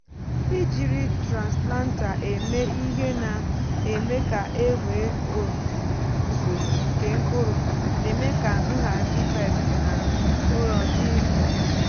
ijiri transplanter eme ihe na-eme ka e nwee otu usoro nke mkpụrụ na-eme ka ịhazi pests na ụrọ dị mfe.